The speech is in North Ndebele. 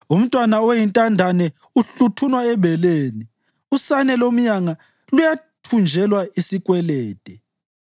Umntwana oyintandane uhluthunwa ebeleni; usane lomyanga luyathunjelwa isikwelede.